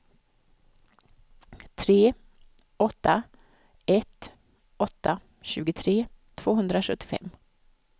tre åtta ett åtta tjugotre tvåhundrasjuttiofem